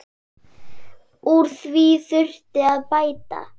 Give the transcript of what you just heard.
Úr því þurfi að bæta.